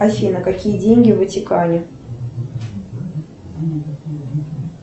афина какие деньги в ватикане